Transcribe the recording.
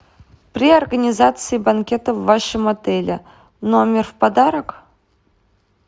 при организации банкета в вашем отеле номер в подарок